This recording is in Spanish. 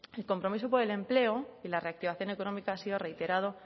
el compromiso por el empleo y la reactivación económica ha sido reiterado